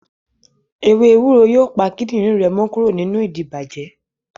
Ewe ewúro yóò pa kídìrín rẹ mọ́ kúrò nínú ìdibàjẹ́